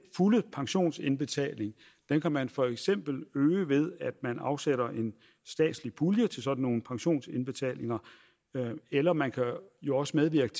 fulde pensionsindbetaling kan man for eksempel øge ved at man afsætter en statslig pulje til sådan nogle pensionsindbetalinger eller man kan jo også medvirke